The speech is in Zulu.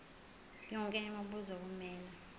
yonke imibuzo kumele